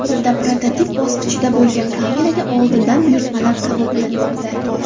Hozirda prototip bosqichida bo‘lgan kameraga oldindan buyurtmalar qabul qilinmoqda.